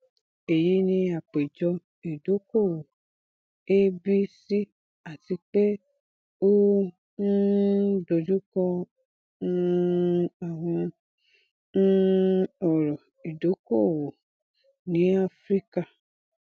eyi ni apejọ idokoowo abc ati pe o um dojukọ um awọn um ọran idokoowo ni afirika